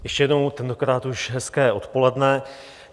Ještě jednou, tentokrát už hezké odpoledne.